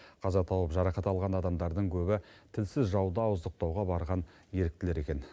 қаза тауып жарақат алған адамдардың көбі тілсіз жауды ауыздықтауға барған еріктілер екен